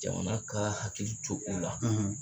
Jamana ka hakili to o la.